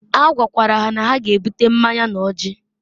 A gwakwara ha na ha g'ebuta mmanya n'ọjị